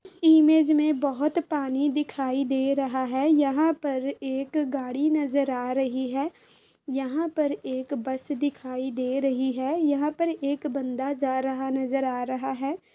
Image में बोहोत पानी दिखाई दे रहा है | यहां पर एक गाड़ी नजर आ रही है यहां पर एक बस दिखाई दे रही है | यहां पर एक बंदा जा रहा नजर आ रहा है।